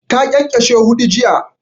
Ta ƙyanƙyashe huɗu jiya